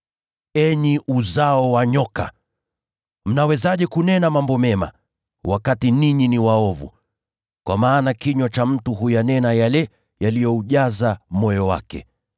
Enyi uzao wa nyoka! Mnawezaje kunena mambo mema, wakati ninyi ni waovu? Kwa maana kinywa cha mtu huyanena yale yaliyoujaza moyo wake.